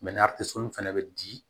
fɛnɛ bɛ di